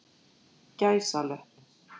gæsalöpp